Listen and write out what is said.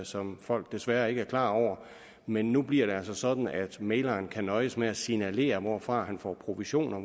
som folk desværre ikke er klar over men nu bliver det altså sådan at mægleren kan nøjes med at signalere hvorfra han får provision og